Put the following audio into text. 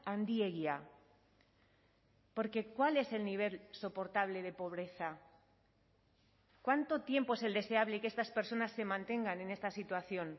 handiegia porque cuál es el nivel soportable de pobreza cuánto tiempo es el deseable que estas personas se mantengan en esta situación